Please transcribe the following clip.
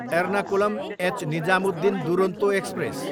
Ernakulam, H Nizamuddin Duronto express